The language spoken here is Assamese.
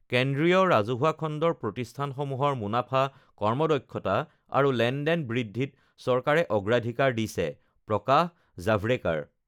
কেন্দ্ৰীয় ৰাজহুৱা খণ্ডৰ প্ৰতিষ্ঠানসমূহৰ মুনাফা, কৰ্মদক্ষতা আৰু লেনদেন বৃদ্ধিত চৰকাৰে অগ্ৰাধিকাৰ দিছেঃ প্ৰকাশ জাভড়েকাৰ